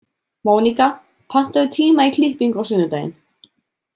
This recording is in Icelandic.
Móníka, pantaðu tíma í klippingu á sunnudaginn.